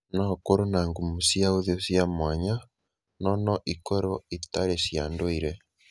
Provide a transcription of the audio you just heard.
No ũkorũo na ngumo cia ũthiũ cia mwanya, no no ikorũo itarĩ cia ndũire.